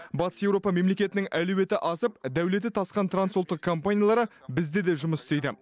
батыс еуропа мемлекетінің әлеуеті асып дәулеті тасқан трансұлттық компаниялары бізде де жұмыс істейді